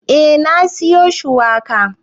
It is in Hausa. Eh na siyo shuwakan.